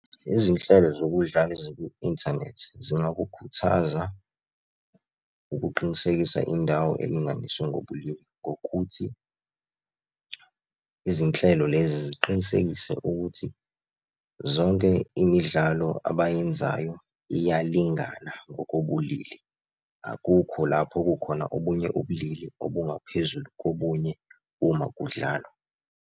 Izinhlelo zokudlala ezikwi-inthanethi zingakukhuthaza ukuqinisekisa indawo elinganiswe ngobulili ngokuthi, izinhlelo lezi ziqinisekise ukuthi zonke imidlalo abayenzayo iyalingana ngokobulili. Akukho lapho kukhona obunye ubulili obungaphezulu kobunye uma kudlalwa.